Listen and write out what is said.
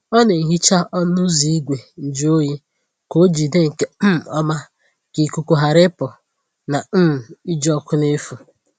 Ọ na-ehicha ọnụ ụzọ igwe njụ oyi ka ọ jide nke um ọma, ka ikuku ghara ịpụ na um iji ọkụ n’efu.